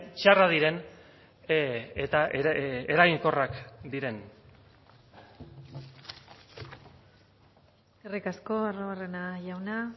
txarrak diren eta eraginkorrak diren eskerrik asko arruabarrena jauna